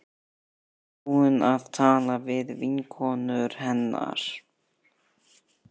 Ertu búin að tala við vinkonur hennar?